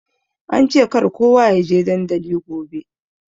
Ance kar kowa ya je dandali gobe.